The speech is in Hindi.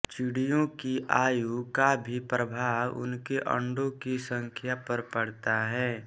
चिड़ियों की आयु का भी प्रभाव उनके अंडों की संख्या पर पड़ता है